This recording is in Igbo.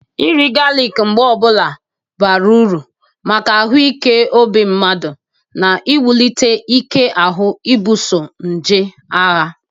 Iri galik mgbe ọbụla bara uru maka ahụ ike obi mmadụ na iwulite ike ahụ ibuoso nje agha.